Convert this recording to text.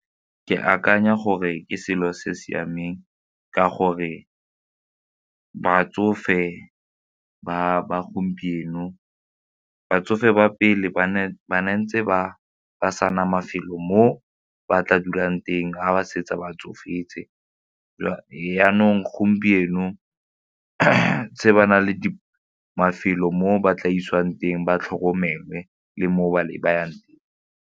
Ke akanya gore ke selo se siameng ka gore batsofe ba gompieno, batsofe ba pele ba ntse ba ba sana mafelo mo ba tla dulang teng ga ba setse ba tsofetse jaanong gompieno se ba na le mafelo mo ba tla isiwang teng ba tlhokomele le mo ba ne ba yang.